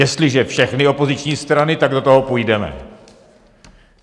Jestliže všechny opoziční strany, tak do toho půjdeme.